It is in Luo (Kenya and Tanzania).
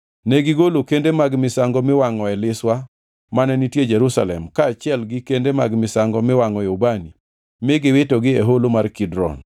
Negigolo kende mag misango miwangʼoe liswa mane nitie Jerusalem kaachiel gi kende mag misango miwangʼoe ubani mi giwitogi e Holo mar Kidron.